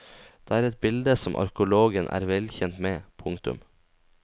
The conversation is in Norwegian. Det er et bilde som arkeologen er vel kjent med. punktum